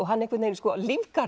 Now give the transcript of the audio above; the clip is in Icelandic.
hann einhvern veginn